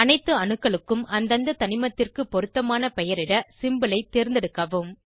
அனைத்து அணுக்களுக்கும் அந்தந்த தனிமத்திற்கு பொருத்தமான பெயரிட சிம்போல் ஐ தேர்ந்தெடுக்கவும்